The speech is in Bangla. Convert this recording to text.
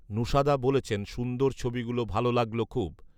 নূশাদা বলেছেন, সুন্দর ছবি গুলো ভালো লাগল খুব